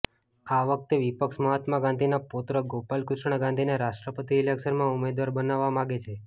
આ વખતે વિપક્ષ મહાત્મા ગાંધીના પૌત્ર ગોપાલ કૃષ્ણ ગાંધીને રાષ્ટ્રપતિ ઈલેક્શનમાં ઉમેદવાર બનાવવા માગે છે